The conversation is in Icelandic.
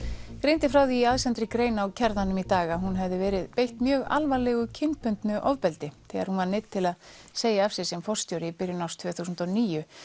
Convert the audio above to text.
greindi frá því í aðsendri grein á Kjarnanum í dag að hún hefði verið beitt mjög alvarlegu kynbundnu ofbeldi þegar hún var neydd til að segja af sér sem forstjóri í byrjun árs tvö þúsund og níu